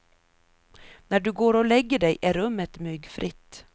När du går och lägger dig är rummet myggfritt.